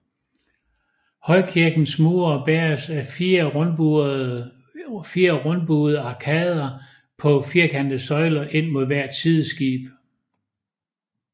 Højkirkens mure bæres af fire rundbuede arkader på firkantede søjler ind mod hvert sideskib